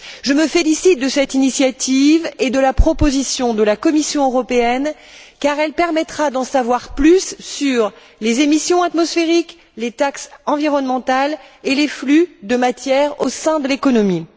Je me félicite de cette initiative et de la proposition de la Commission européenne, car elle permettra d'en savoir plus sur les émissions atmosphériques, les taxes environnementales et les flux de matières au sein de l'économie.